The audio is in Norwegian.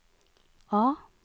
A